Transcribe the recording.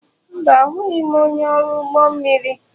Mba, abụghị m onye ọrụ ụgbọ mmiri.